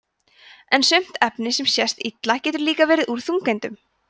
en sumt efni sem sést illa getur líka verið úr þungeindum